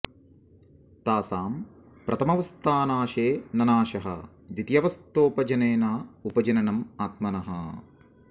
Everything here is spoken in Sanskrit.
तासां प्रथमावस्थानाशे न नाशः द्वितीयावस्थोपजने न उपजन नम् आत्मनः